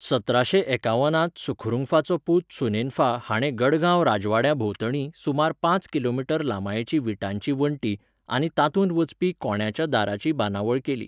सतराशे एकावन त सुखरुंगफाचो पूत सुनेनफा हाणें गढगांव राजवाड्याभोंवतणी सुमार पांच किलोमीटर लांबायेची विटांची वण्टी आनी तातूंत वचपी कोंड्याच्या दाराची बांदावळ केली.